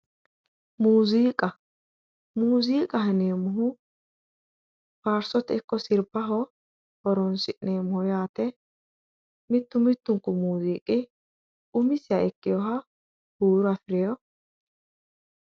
Muziiqa, muziiqaho yineemmohu faarsote ikko sirbaho horonsi'neemmoho yaate mitu mitunku muziiqi umisiha ikkinoha huuro afirinoho